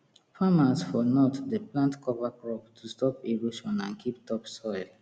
farmers for north dey plant cover crop to stop erosion and keep topsoil